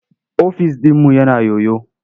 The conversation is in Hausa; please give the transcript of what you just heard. Ofis ɗinmu yana yoyo.